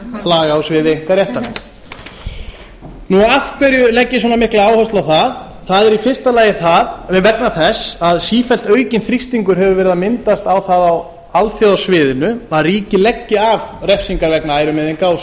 laga á sviði einkaréttarins af hverju legg ég svona mikla áherslu á það það er í fyrsta lagi vegna þess að sífellt aukinn þrýstingur hefur verið að myndast á það á alþjóðasviðinu að ríki leggi af refsingar vegna ærumeiðinga